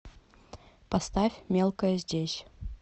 поставь мелкая здесь